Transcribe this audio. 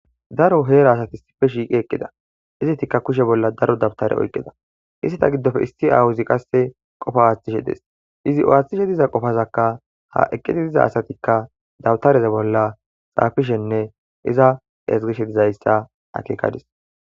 daro heera asati sipe shiiqi eqqida izitikka kushe bolla daro dabtare oyqida isseta giddofe issi awuzi qasse qofa aaththishe des izi aaththishe diza qofazakka ha eqqiti diza asatikka dabtareze bolla xaafishenne iza ezgishe dizayssa akekadis